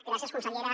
gràcies consellera